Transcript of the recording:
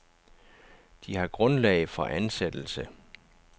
De har grundlag for ansættelse.